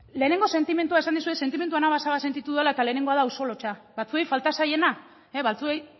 lehenengo sentimendua esan dizuet sentimendu anabasa bat sentitu dudala eta lehenengoa da auzo lotsa batzuei falta zaiena batzuei